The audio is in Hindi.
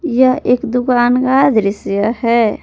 यह एक दुकान का दृश्य है।